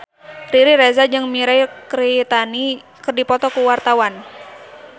Riri Reza jeung Mirei Kiritani keur dipoto ku wartawan